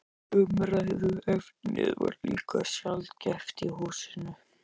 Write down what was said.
Umræðuefnið var líka sjaldgæft í húsinu.